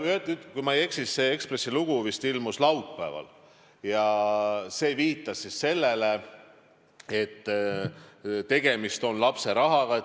Kui ma eksi, siis see Ekspressi lugu ilmus laupäeval ja viitas sellele, et tegemist on lapse rahaga.